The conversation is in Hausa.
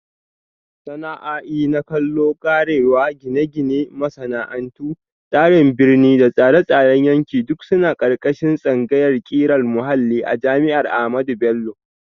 Sana'a'i na kallo, karewa, Gine-gine, Masana'antu, Tsarin Birni da Tsare-tsaren yanki duk suna ƙarƙashin tsangayar ƙirar muhalli a jami'ar Ahmadu Bello.